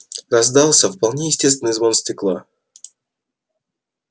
раздался вполне естественный звон стекла